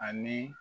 Ani